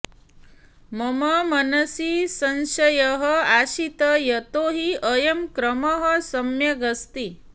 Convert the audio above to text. मम मनसि संशयः आसीत् यतो हि अयं क्रमः सम्यगस्ति